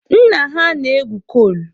Nna ha na-egwu kol.